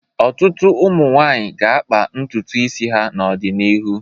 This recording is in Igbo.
Ọtụtụ ụmụ nwaanyị ga-akpa ntutu isi ha n'ọdịnihu.